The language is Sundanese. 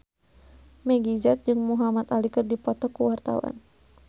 Meggie Z jeung Muhamad Ali keur dipoto ku wartawan